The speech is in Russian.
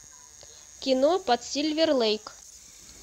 кино под сильвер лейк